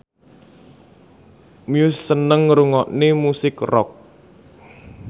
Muse seneng ngrungokne musik rock